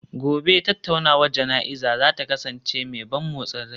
Gobe ​​tattaunawar jana'izar za ta kasance mai ban motsin rai